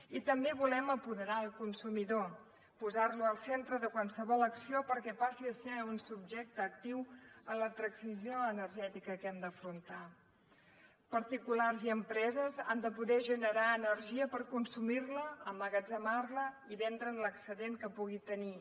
i també volem apoderar el consumidor posar lo al centre de qualsevol acció perquè passi a ser un subjecte actiu en la transició energètica que hem d’afrontar particulars i empreses han de poder generar energia per consumir la emmagatzemar la i vendre’n l’excedent que pugui tenir